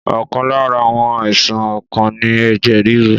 Ọ̀kan lára àwọn àìsàn ọkàn ni ẹ̀jẹ̀ ríru